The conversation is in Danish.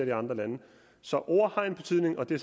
i andre lande så ord har en betydning og det